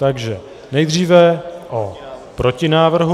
Takže nejdříve o protinávrhu.